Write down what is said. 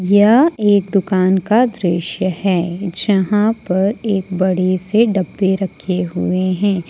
यह एक दुकान का दृश्य है जहां पर एक बड़े से डब्बे रखे हुए हैं।